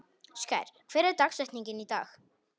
Skær, hver er dagsetningin í dag?